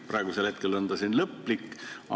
Praegu on see siin ju lõplik.